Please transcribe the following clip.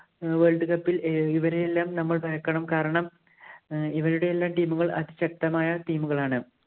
world cup ഇല്‍ ഏർ ഇവരെയെല്ലാം നമ്മള്‍ ഭയക്കണം. കാരണം, ഇവരുടെയെല്ലാം team ഉകള്‍ അതിശക്തമായ team ഉകളാണ്.